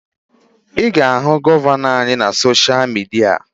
Ị ga-ahụ gọvanọ anyị na sosha midia